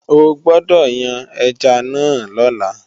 O gbódọ̀ yan ẹja náà lọ́la!